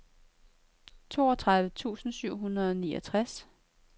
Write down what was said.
toogtredive tusind syv hundrede og niogtres